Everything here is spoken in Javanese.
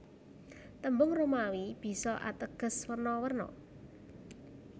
Tembung Romawi bisa ateges werna werna